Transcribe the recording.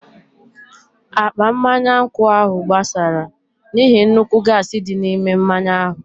Akpa mmanya nkwụ ahụ gbásárá n'ihi nnukwu gaasi dị n'ime mmanya ahụ.